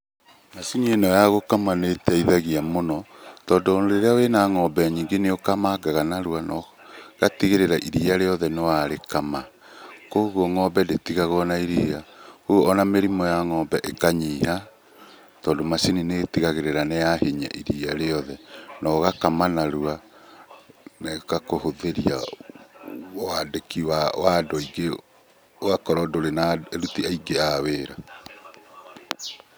Macini ĩno ya gũkama nĩ ĩteithagia mũno, tondũ rĩrĩa wĩna ng'ombe nyingĩ nĩ ũkamangaga narua no gatigĩrĩra iriia rĩothe nĩ warĩkama kũguo ng'ombe ndĩtigagwo na iriia. Rĩu ona mĩrimũ ya ng'ombe ĩkanyiha, tondũ macini nĩ ĩtigagĩrĩra nĩ yahinyia iriia rĩothe na ũgakama narua na ĩgakũhũthĩria wandĩki wa andũ aingĩ, ũgakorwo ndũri na aruti aingĩ a wĩra.